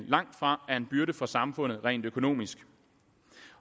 langtfra er en byrde for samfundet rent økonomisk